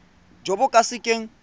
jo bo ka se keng